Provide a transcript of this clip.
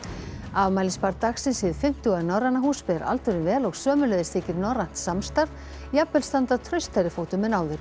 afmælisbarn dagsins hið Norræna hús ber aldurinn vel og sömuleiðis þykir norrænt samstarf jafnvel standa traustari fótum en áður